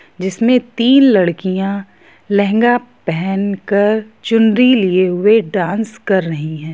इसमें तीन लड़कियां लहंगा पहन कर चुनरी लिए हुए डांस कर रही है